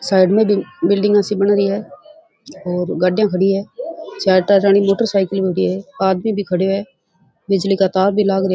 Side में बिल्डिंगा सी बन री है और गाड़िया खड़ी है चार टायरा री मोटर साइकिला खड़ी है आदमी भी खड़यो है बिजली का तार भी लाग रे है।